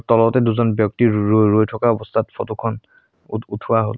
তলতে দুজন ব্যক্তি ৰৈ ৰৈ ৰৈ থকা অৱস্থাত ফটো খন উৎ উঠোৱা হ'ল।